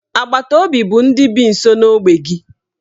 Agbataobi bụ ndị bi nso n'ogbe gị.